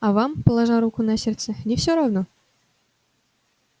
а вам положа руку на сердце не всё равно